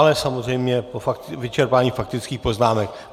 Ale samozřejmě po vyčerpání faktických poznámek.